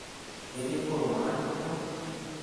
ketii kurum olarikoni lang'